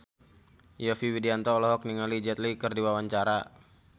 Yovie Widianto olohok ningali Jet Li keur diwawancara